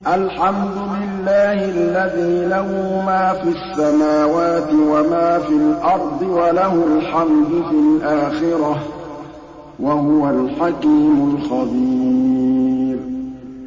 الْحَمْدُ لِلَّهِ الَّذِي لَهُ مَا فِي السَّمَاوَاتِ وَمَا فِي الْأَرْضِ وَلَهُ الْحَمْدُ فِي الْآخِرَةِ ۚ وَهُوَ الْحَكِيمُ الْخَبِيرُ